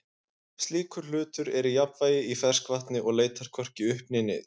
slíkur hlutur er í jafnvægi í ferskvatni og leitar hvorki upp né niður